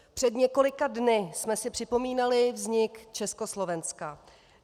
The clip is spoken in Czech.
Před několika dny jsme si připomínali vznik Československa.